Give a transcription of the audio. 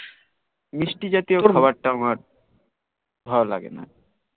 মিস্তি জাতিও বাপার টা মার ভাল লাগে না